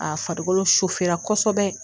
A farikolo kosɛbɛ